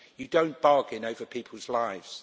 You do not bargain over people's lives.